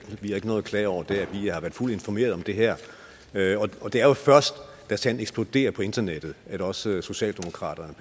vi ikke noget at klage over der vi har været fuldt informeret om det her og det er jo først da sagen eksploderer på internettet at også socialdemokraterne